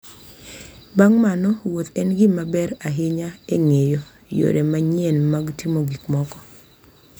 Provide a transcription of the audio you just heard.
Bang’ mano, wuoth ​​en gima ber ahinya e ng’eyo yore manyien mag timo gik moko.